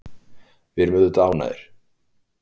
Við vorum auðvitað ánægðir.